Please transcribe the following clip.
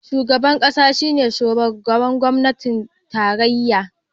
Shugaban kasa shine shugaban gwamnatin tarayya